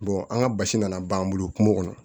an ka basi nana ban an bolo kungo kɔnɔ